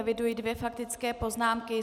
Eviduji dvě faktické poznámky.